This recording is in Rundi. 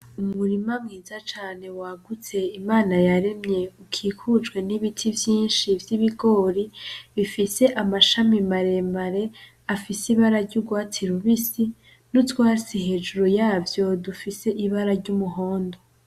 Umurima mwiza cane wagutse Imana yaremye ukikujwe n'ibiti vyinshi vy'ibigori, bifise amashami maremare afise ibara ry'urwatsi rubisi, n'utwatsi hejuru yavyo dufise ibara ry'umuhondo.